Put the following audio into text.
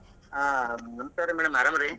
ಆ ನಮಸ್ಕಾರ್ರೀ madam ಆರಾಮ್ ರೀ?